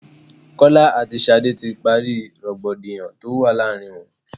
Kọ́lá àti Ṣadé ti parí rògbòdìyàn tó wà láàárín wọn.